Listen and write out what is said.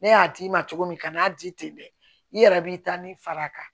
Ne y'a d'i ma cogo min kan n'a di ten dɛ i yɛrɛ b'i taa ni far'a kan